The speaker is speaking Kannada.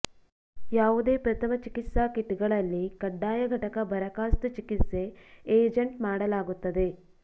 ಯಾವುದೇ ಪ್ರಥಮ ಚಿಕಿತ್ಸಾ ಕಿಟ್ಗಳಲ್ಲಿ ಕಡ್ಡಾಯ ಘಟಕ ಬರಖಾಸ್ತು ಚಿಕಿತ್ಸೆ ಏಜೆಂಟ್ ಮಾಡಲಾಗುತ್ತದೆ